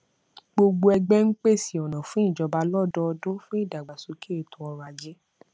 gbogbo ẹgbé ń pèse ọnà fún ìjọba lọdọọdún fún ìdàgbàsókè ètò ọrọajé